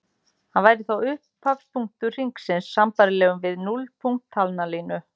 Hann væri þá upphafspunktur hringsins sambærilegur við núllpunkt talnalínu.